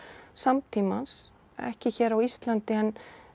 samtímans ekki hér á Íslandi en